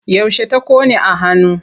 Yaushe ta ƙone a hannu?